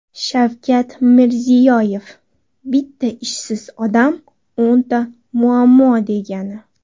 Shavkat Mirziyoyev: Bitta ishsiz odam o‘nta muammo degani.